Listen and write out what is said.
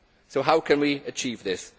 So how can we achieve this?